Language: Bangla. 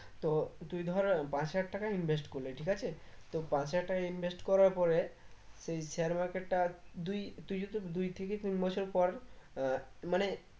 তো তুই ধর পাঁচ হাজার টাকা invest করলি ঠিক আছে তো পাঁচ হাজার টাকা invest করার পরে সেই share market দুই তুই যদি দুই থেকে তিন বছর পর আহ মানে